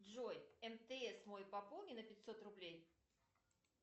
джой мтс мой пополни на пятьсот рублей